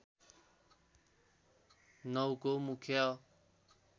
९ को मुख्य